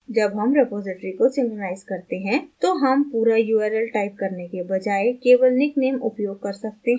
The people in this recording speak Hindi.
जब हम रिपॉज़िटरी को synchronize करते हैं तो हम पूरा url टाइप करने के बजाय केवल निकनेम उपयोग कर सकते हैं